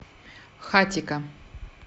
хатико